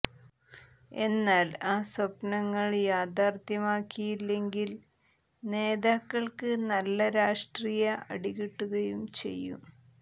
എന്നാൽ ആ സ്വപ്നങ്ങൾ യാഥാർഥ്യമാക്കിയില്ലെങ്കിൽ നേതാക്കൾക്ക് നല്ല രാഷ്ട്രീയ അടി കിട്ടുകയും ചെയ്യും